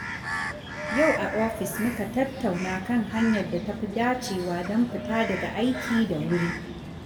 Yau a ofis, muka tattauna kan hanyar da tafi dacewa don fita daga aiki da wuri.